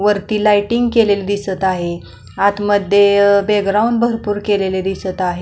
वरती लायटिंग केलेली दिसत आहे आतमध्ये अ बॅकग्राऊंड भरपूर केलेलं दिसत आहे.